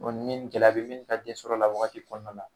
Ni nin gɛlɛya bɛ min ka densɔrɔ la wagati kɔnɔna na